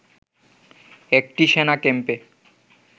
একটি সেনা ক্যাম্পে